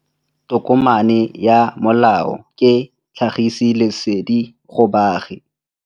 Tokomane ya molao ke tlhagisi lesedi go baagi.